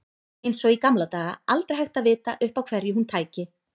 Eins og í gamla daga, aldrei hægt að vita upp á hverju hún tæki.